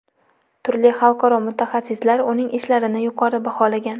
Turli xalqaro mutaxassislar uning ishlarini yuqori baholagan.